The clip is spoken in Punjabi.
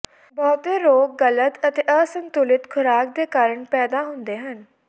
ਬਹੁਤੇ ਰੋਗ ਗਲਤ ਅਤੇ ਅਸੰਤੁਲਿਤ ਖੁਰਾਕ ਦੇ ਕਾਰਨ ਪੈਦਾ ਹੁੰਦੇ ਹਨ